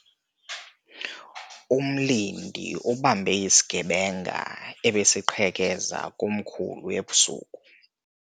Umlindi ubambe isigebenga ebesiqhekeza komkhulu ebusuku.